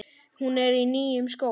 Hún er í nýjum skóm.